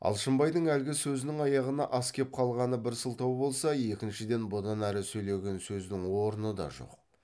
алшынбайдың әлгі сөзінің аяғына ас кеп қалғаны бір сылтау болса екіншіден бұдан әрі сөйлеген сөздің орны да жоқ